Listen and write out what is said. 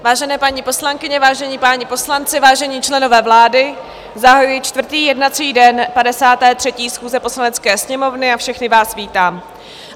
Vážené paní poslankyně, vážení páni poslanci, vážení členové vlády, zahajuji čtvrtý jednací den 53. schůze Poslanecké sněmovny a všechny vás vítám.